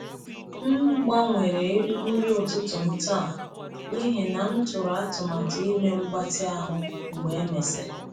M gbanwere nri ụtụtụ m taa n’ihi na m tụrụ atụmatụ ime mgbatị ahụ mgbe e mesịrị.